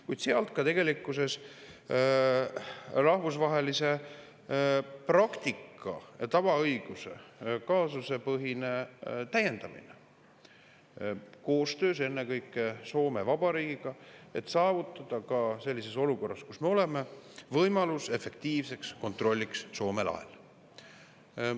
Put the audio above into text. Kuid sellele järgneb tegelikkuses rahvusvahelise praktika ja tavaõiguse kaasusepõhine täiendamine koostöös ennekõike Soome Vabariigiga, et saavutada ka sellises olukorras, kus me oleme, võimalus efektiivseks kontrolliks Soome lahel.